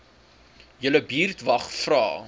julle buurtwag vra